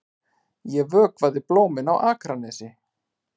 Ég vökvaði blómin á Akranesi.